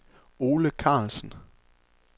Ole Carlsen